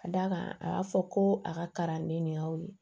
Ka d'a kan a y'a fɔ ko a ka karaden nin y'aw ye